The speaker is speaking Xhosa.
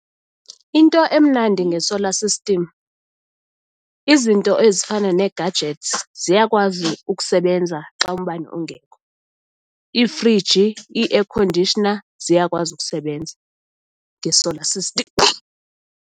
Into emnandi nge-solar system izinto ezifana nee-gadgets ziyakwazi ukusebenza xa umbane ungekho. Iifriji, i-air conditioner ziyakwazi ukusebenza nge-solar system.